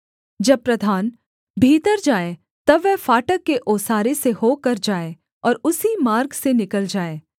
जब प्रधान भीतर जाए तब वह फाटक के ओसारे से होकर जाए और उसी मार्ग से निकल जाए